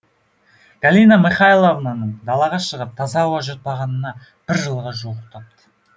галина михайловнаның далаға шығып таза ауа жұтпағанына бір жылға жуықтапты